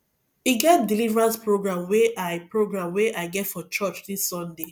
e get deliverance program wey i program wey i get for church dis sunday